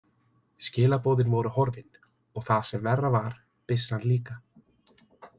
Skilaboðin voru horfin, og það sem verra var, byssan líka.